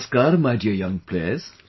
Namaskar my dear young players